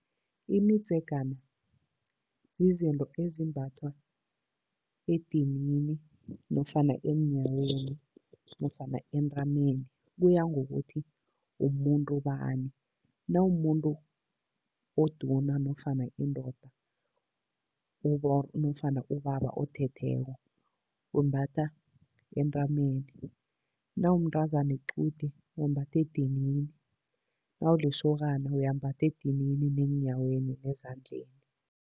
Imidzegana yizinto ezimbathwa edinini nofana eenyaweni nofana entameni, kuya ngokuthi umuntu bani. Nawumumuntu oduna nofana indoda nofana ubaba othetheko, ulimbatha entameni. Nawumntazana wequde, uwambatha edinini, nawulisokana uyambatha edinini neenyaweni nezandleni.